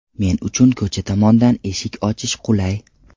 Men uchun ko‘cha tomondan eshik ochish qulay.